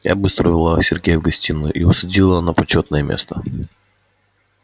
я быстро увела сергея в гостиную и усадила на почётное место